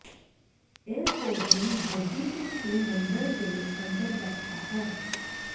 ਇਹ ਕੋਰੀਅਨ ਬੋਧੀ ਭਿਕਸ਼ੂ ਮੰਦਰ ਦੇ ਅੰਦਰ ਬੈਠਾ ਹੈ